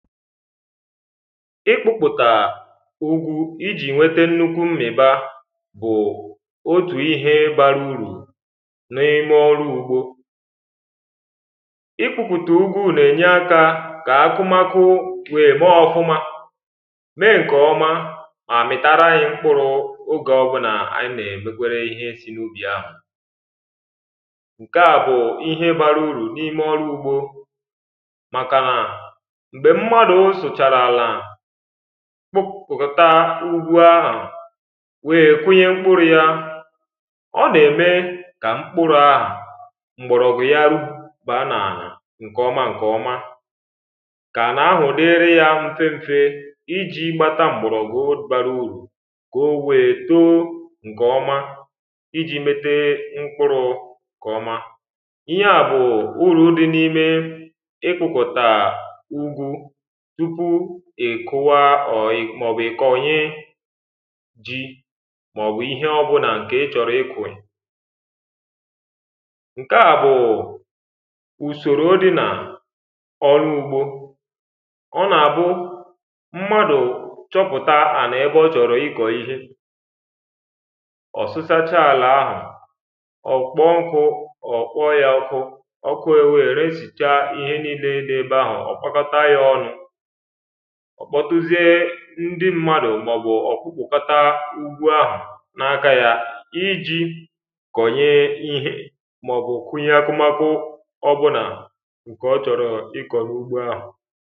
Ị̀kpụ̀pụta ụ̀gụ̄ ìji ṅwētē ṅnukwu m̀miba Bụ otu ihē bàrū ùruù N’imē ọ̀rụ̀ ụ̀gbo Ị̀kpụ̀ta ụ̀gụ̄ na-ēnyē àka ka àkụmakụ̀ wēē ba ọ̀fụma Mee ṅkē ọ̀ma ma mìtara anyi m̀kpụ̄rụ̄ ogē ọ̀bụna anyì n’emekwērē ihē si n’ubi àhụ̄. Ka bụ̄ ihē barụ̀ ùruu n’imē ụ̀lọ̀ ụ̀gbo Màkà na mgbē m̀madụ sụchàrá àlà Kpụp kọ̀tà ụgụ ahụ wēē kụnyē mkpụrụ yá ọ na-ēme ka m̀kpụ̄rụ̄ ɑ̀hụ̄ M̀gbọrọ̀gwụ̀ ya rupu ba n’ànà ṅkē ọ̀ma ṅkē ọ̀ma Ka ànà àhụ̀ diri ya ṅ̀fē ṅ̀fē iji gbátà m̀gbọrọ̀gwụ̀ barụ ùruu Kowēē too ṅkē ọma ịjị mētē mkpụrụ kọma Ịhe a bụ ụ̀rūū di n’imé Ị̀kpụtá ụ̀gụụ̀ Tupu ìkụ̀wá ọ mọ̀bụ̀ kòṅye Dị mọ̀bụ̀ ihe ọ̀bụna ṅkē ị̀chọ̀rọ̄ ị̀kwị̀ ṅkē a bụ̄ ụsōrō di na ọ̀lụ ụ̀gbo ọ na-bụ̄ m̀madụ̀ chọpụta ànà ēbē ọ chọrọ ikọ ihē Ọ sụsacha àlà ahụ ọ kpoṅkụ ọ kpọ ya ọ̀kụ̀ Ọ̀̀kụ̀ èwee resìcha ihē n’ile dị ēbē ahụ ọ kpọ̀kọta ya ọ̀nụ̄. Ọ kpọtụzie ṅdi mmadụ mọbụ ọ kpụpụ̀kòtá ùgwù ahụ n’aka ya ìjì kọ̀ṅyē ìhē Mọ̀bụ kụ̀ṅyē akụ̀makụ̀ ọ̀bụna ṅ̀kē ọ̀ chọ̀rọ̀ ìkọ̀ n’ụgbo àhụ̄.